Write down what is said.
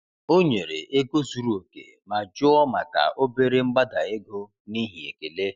O nyere ego zuru oke ma jụọ maka obere mgbada ego n’ihi ekele.